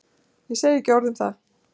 Ég segi ekki orð um það.